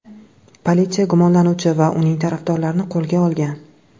Politsiya gumonlanuvchi va uning tarafdorlarini qo‘lga olgan.